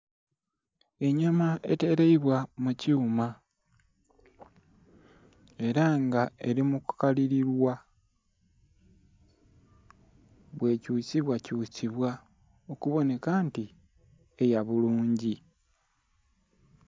Enhyama etelebwa mukyuma era nga Eli muku kalilibwa, bwekyusibwa kyusibwa okubonheka nti eya bulungi.